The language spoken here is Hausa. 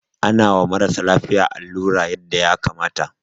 Ana wa marasa lafiya allura yanda ya kamata.